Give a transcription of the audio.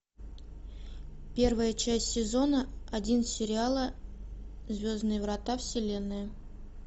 первая часть сезона один сериала звездные врата вселенная